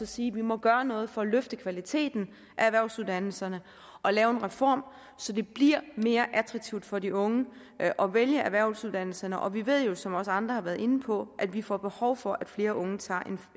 sige vi må gøre noget for at løfte kvaliteten af erhvervsuddannelserne og lave en reform så det bliver mere attraktivt for de unge at vælge erhvervsuddannelserne og vi ved jo som også andre har været inde på at vi får behov for at flere unge tager